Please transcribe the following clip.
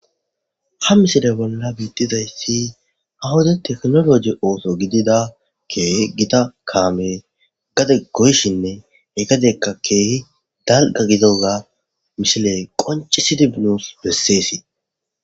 Ha misile bolla biittiza issi ha wode teknoloje ooso gidida keehi gita kaame gade goyshinne he gadekka keehi dalga gidoza mishiley qoncisidi nusi bessees.